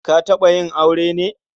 Ta taɓa yin aure ne?